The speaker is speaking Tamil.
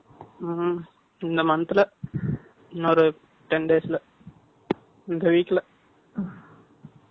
இந்த month ல, இன்னொரு ten days ல, 4 . இந்த week ல.